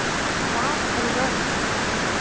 Hvað eru jólin